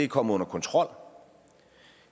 kommet under kontrol